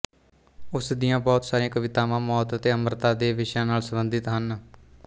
ਉਸ ਦੀਆਂ ਬਹੁਤ ਸਾਰੀਆਂ ਕਵਿਤਾਵਾਂ ਮੌਤ ਅਤੇ ਅਮਰਤਾ ਦੇ ਵਿਸ਼ਿਆਂ ਨਾਲ ਸੰਬੰਧਿਤ ਹਨ